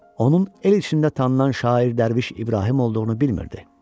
Onun el içində tanınan şair dərviş İbrahim olduğunu bilmirdi.